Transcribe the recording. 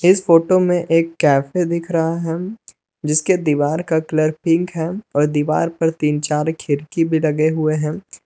इस फोटो में एक कैफे दिख रहा हैं जिसके दीवार का कलर पिंक हैं और दीवार पर तीन चार खिड़की भी लगे हुए हैं।